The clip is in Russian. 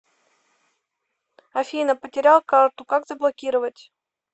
афина потерял карту как заблокировать